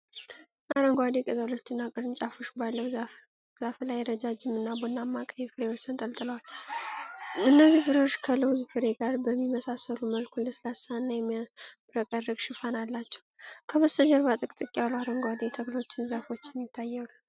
አረንጓዴ ቅጠሎችና ቅርንጫፎች ባለው ዛፍ ላይ፣ ረዣዥም እና ቡናማ ቀይ ፍሬዎች ተንጠልጥለዋል። እነዚህ ፍሬዎች ከለውዝ ፍሬ ጋር በሚመሳሰል መልኩ ለስላሳና የሚያብረቀርቅ ሽፋን አላቸው፤ ከበስተጀርባ ጥቅጥቅ ያሉ አረንጓዴ ተክሎችና ዛፎች ይታያሉ።